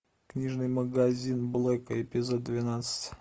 книжный магазин блэка эпизод двенадцать